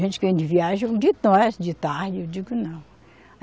Gente que vem de viagem, eu digo não.